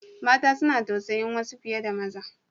Mata suna tausayin wasu fiye da maza.